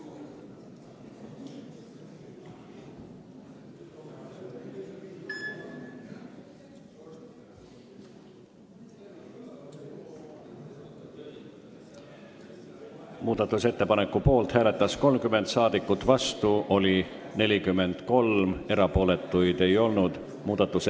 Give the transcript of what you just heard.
Hääletustulemused Muudatusettepaneku poolt hääletas 30 rahvasaadikut, vastu oli 43, erapooletuid ei olnud.